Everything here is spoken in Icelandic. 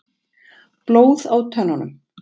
Blóð á tönnunum.